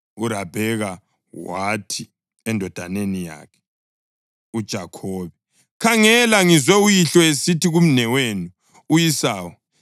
uRabheka wathi endodaneni yakhe uJakhobe, “Khangela, ngizwe uyihlo esithi kumnewenu u-Esawu